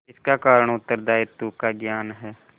इसका कारण उत्तरदायित्व का ज्ञान है